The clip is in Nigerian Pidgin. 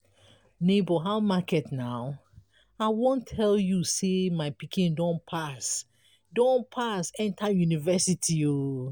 nebor how market na? i wan tell you sey my pikin don pass don pass enta university.